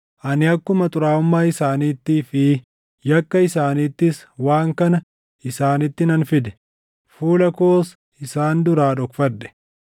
Ani akkuma xuraaʼummaa isaaniittii fi yakka isaaniittis waan kana isaanitti nan fide; fuula koos isaan duraa dhokfadhe.